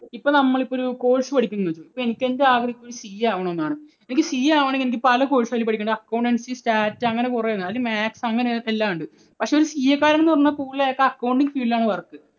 ഇപ്പോൾ നമ്മൾ ഇപ്പോൾ ഒരു course പഠിപ്പിക്കുന്നു എന്ന് വെക്കുന്നു. എന്റെ ആഗ്രഹം ഒരു CA ആകണമെന്നാണ്. എനിക്ക് CA ആകണമെങ്കിൽ എനിക്ക് പല course കൾ പഠിക്കണം accountancy, stat അങ്ങനെ കുറെ എണ്ണം. അതിൽ maths അങ്ങനെ എല്ലാം ഉണ്ട്. പക്ഷേ ഒരു CA കാരന് പറഞ്ഞാൽ കൂടുതൽ അയാൾക്ക് accounting field ൽ ആണ് work.